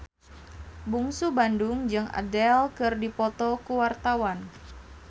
Bungsu Bandung jeung Adele keur dipoto ku wartawan